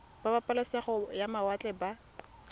ba pabalesego ya mawatle ba